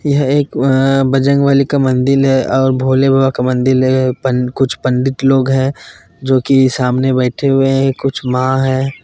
यह एक अं बजरंगबली का मंदिल है और भोले बाबा का मंदिल है पन कुछ पंडित लोग हैं जो कि सामने बैठे हुए हैं कुछ माँ हैं।